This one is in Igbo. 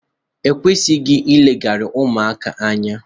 e kwesịghị ileghara ụmụaka anya